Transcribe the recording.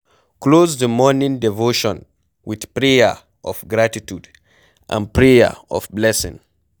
Close di morning devotion with prayer of gratitude and prayer of blessing